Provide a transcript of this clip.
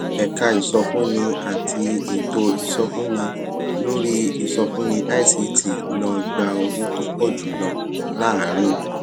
ẹka ìsọfúnni àti ètò ìsọfúnni lórí ìsọfúnni ict ló gba owó tó pọ jù lọ láàárín